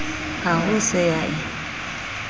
ha ho se ya e